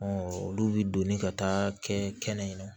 olu bi doni ka taa kɛ kɛnɛ na